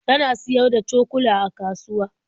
Ta na siyar da cokula a kasuwa.